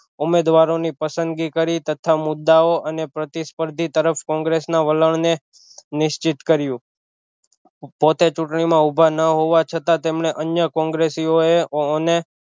ઉમેદવારો ની પસંદગી કરી તથા મુદ્દાઑ અને પ્રતિસ્પર્ધી તરફ કોંગ્રેસ ના વલણ ને નિશ્ચિત કર્યું પોતે ચુંટણી માં ઊભા ન હોવા છતાં તેમણે અન્ય કોંગ્રેસીઓએ અને